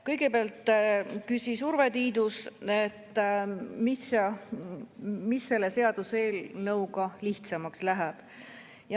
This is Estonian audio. Kõigepealt küsis Urve Tiidus, mis selle seaduseelnõuga lihtsamaks läheb.